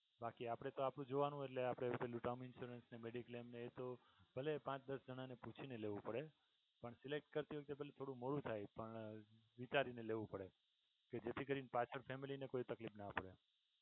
કે આપણે તો આપણું જોવાનું એટલે આપણે પેલું term insurance ને mediclaim ને એ તો ભલે પાંચ દસ જણાને પૂછીને લેવું પડે પણ elect કરતી વખતે થોડું મોડું થાય પણ વિચારીને લેવું પડે કે જેથી પાછળ કોઈ family ને કોઈ તકલીફ ના થાય.